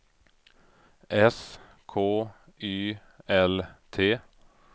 S K Y L T